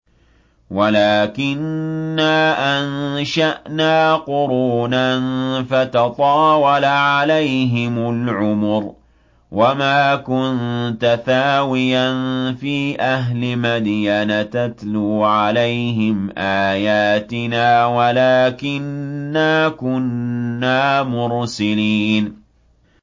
وَلَٰكِنَّا أَنشَأْنَا قُرُونًا فَتَطَاوَلَ عَلَيْهِمُ الْعُمُرُ ۚ وَمَا كُنتَ ثَاوِيًا فِي أَهْلِ مَدْيَنَ تَتْلُو عَلَيْهِمْ آيَاتِنَا وَلَٰكِنَّا كُنَّا مُرْسِلِينَ